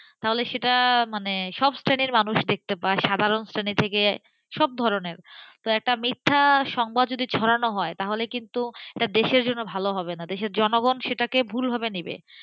তাহলে সেটা সব শ্রেণীর মানুষ দেখতে পায় সাধারণ শ্রেণি থেকে সব ধরনের তো একটা মিথ্যা সংবাদ যদি ছড়ানো হয় তাহলে কিন্তু দেশের জন্য ভাল হবে নাদেশের জনগণ সেটাকে ভুলভাবে নেবে,